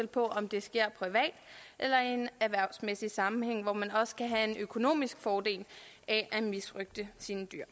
på om det sker privat eller i en erhvervsmæssig sammenhæng hvor man også kan have en økonomisk fordel af at misrøgte sine dyr